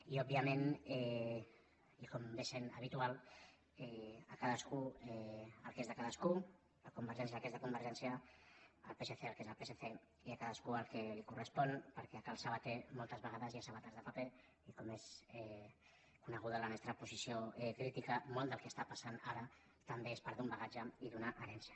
i òbviament i com ve sent habitual a cadascú el que és de cadascú a convergència el que és de convergència al psc el que és del psc i a cadascú el que li correspon perquè a cal sabater moltes vegades hi ha sabates de paper i com és coneguda la nostra posició crítica molt del que està passant ara també és part d’un bagatge i d’una herència